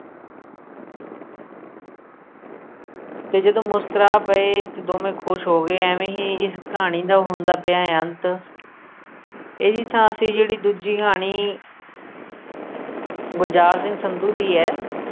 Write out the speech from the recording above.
ਤੇ ਜਦੋਂ ਮੁਸਕਰਾ ਪਏ ਤੇ ਦੋਵੇਂ ਖੁਸ਼ ਹੋ ਗਏ ਐਵੇਂ ਹੀ ਇਸ ਕਹਾਣੀ ਦਾ ਹੁੰਦਾ ਪਿਆ ਏ ਅੰਤ ਇਹਦੀ ਥਾਂ ਅਸੀਂ ਜਿਹੜੀ ਦੂਜੀ ਕਹਾਣੀ ਗੁਲਜ਼ਾਰ ਸਿੰਘ ਸੰਧੂ ਦੀ ਏ